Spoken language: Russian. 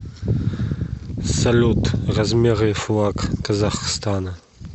салют размеры флаг казахстана